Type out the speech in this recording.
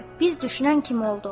“Biz düşünən kimi oldu.”